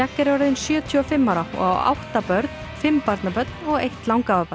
er orðinn sjötíu og fimm ára og á átta börn fimm barnabörn og eitt